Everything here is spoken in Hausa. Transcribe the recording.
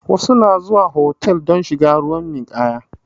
Wasu na zuwa hotal don shiga ruwan ninkaya